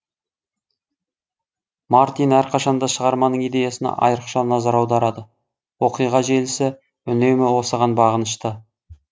мартин әрқашанда шығарманың идеясына айрықша назар аударады оқиға желісі үнемі осыған бағынышты